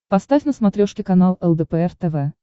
поставь на смотрешке канал лдпр тв